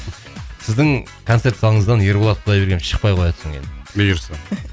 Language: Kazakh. сіздің концерт залыңыздан ерболат құдайбергенов шықпай қояды содан кейін бұйырса